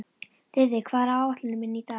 Þiðrik, hvað er á áætluninni minni í dag?